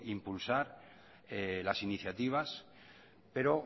impulsar las iniciativas pero